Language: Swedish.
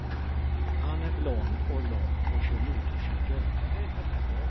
Han är blond och lång och kör motorcykel.